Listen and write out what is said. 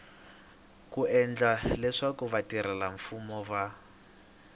ku endla leswaku vatirhelamfumo va